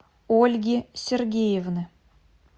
ольги сергеевны